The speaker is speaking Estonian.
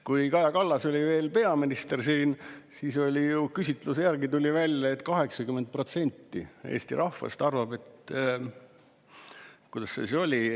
Kui Kaja Kallas oli veel peaminister, siis küsitluse järgi tuli välja, et 80% Eesti rahvast arvab – kuidas see oli?